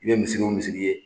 I be misiri o misiri ye